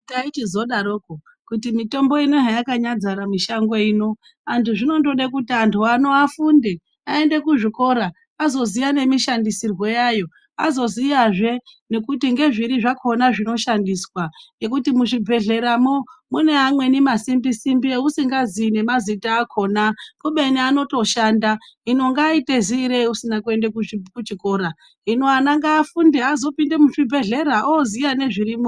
Taichizodarokwo kuti mitombo ino iyi heyakandodzara mishango ino antu zvinondode kuti antu afunde aende kuzvikora azoziya nemishandisirwo yayo azoziyazve ngekuti ngezviri zvakhona zvinoshandiswa. Ngekuti muzvibhedhleramwo mune amweni masimbi simbi eusingazii nemazita akhona kubeni anotoshanda. Hino ungaite ziirei usina kuenda kuchikora. Hino ana ngaafunde azopinde muzvibhedhlera ooziya nezvirimwo.